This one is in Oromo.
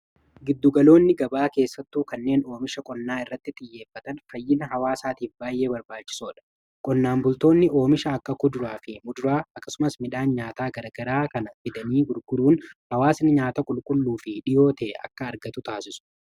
Giddugaloonni gabaa keessattuu kanneen oomisha qonnaa irratti xiyyeeffatan fayyina hawaasaatiif baay'ee barbaachisoodha. Qonnaan bultoonni oomishaa akka kuduraa fi muduraa akkasumas midhaan nyaataa garagaraa kana fidanii gurguruun hawaasin nyaata qulqulluu fi dhiyoo ta'e akka argatu taasisu.